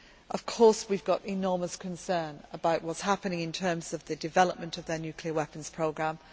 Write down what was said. Of course we have enormous concern about what is happening in terms of the development of their nuclear weapons programme.